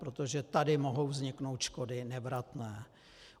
Protože tady mohou vzniknout škody nevratné.